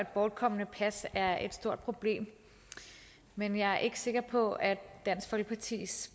at bortkomne pas er et stort problem men jeg er ikke sikker på at dansk folkepartis